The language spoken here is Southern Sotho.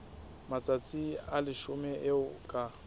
matsatsi a leshome eo ka